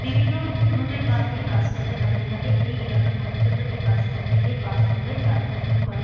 বিভিন্ন রুটের বাস এই বাস স্ট্যান্ড এ দাঁড়িয়ে থাকে এই এলাকার মানুষ এই বাস স্ট্যান্ড থেকে বাস ধরে যাত্রা শুরু করে।